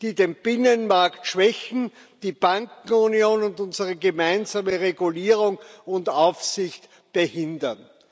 die den Binnenmarkt schwächen, die Bankenunion und unsere gemeinsame Regulierung und Aufsicht behindern.